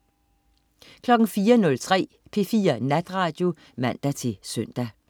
04.03 P4 Natradio (man-søn)